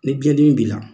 Ni biyɛn dimi b'i la